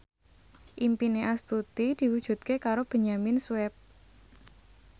impine Astuti diwujudke karo Benyamin Sueb